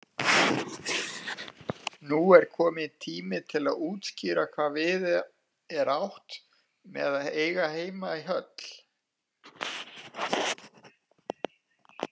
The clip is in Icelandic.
Nú er kominn tími til að útskýra hvað við er átt með heima í höll.